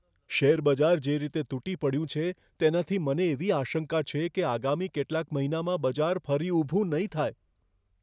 Share બજાર જે રીતે તૂટી પડ્યું છે, તેનાથી મને એવી આશંકા છે કે આગામી કેટલાક મહિનામાં બજાર ફરી ઊભું નહીં થાય.